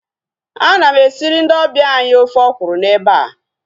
Ana m esiri ndị ọbịa anyị ofe ọkwụrụ na eba